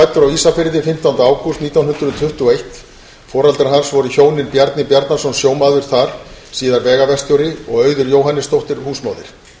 ísafirði fimmtánda ágúst nítján hundruð tuttugu og eitt foreldrar hans voru hjónin bjarni bjarnason sjómaður þar síðar vegaverkstjóri og auður jóhannesdóttir húsmóðir